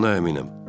Buna əminəm.